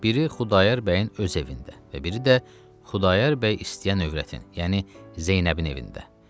Biri Xudayar bəyin öz evində və biri də Xudayar bəy istəyən övrətin, yəni Zeynəbin evində.